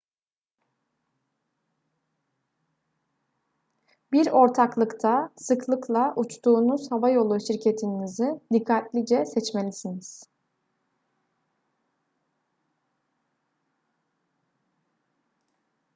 bir ortaklıkta sıklıkla uçtuğunuz havayolu şirketinizi dikkatlice seçmelisiniz